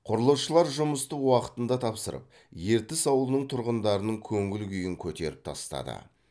құрылысшылар жұмысты уақытында тапсырып ертіс ауылының тұрғындарының көңіл күйін көтеріп тастады